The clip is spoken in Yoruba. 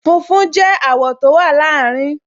Funfun jẹ́ àwọ̀ tó wà láàrin